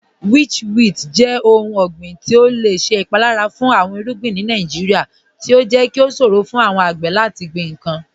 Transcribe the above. Witchweed jẹ ọ̀hùn ọ̀gbiǹ ti o lẹ ṣẹ ipalara fun awọn irugbin ni Nàìjíríà, ti o jẹ́ kí o ṣòro fun awọn agbè lati gbin nkan.